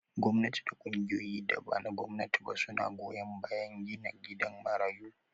Gwamnati da ƙungiyoyin da bana gwamnati ba suna goyan bayan gina gidan marayu